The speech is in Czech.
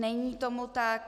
Není tomu tak.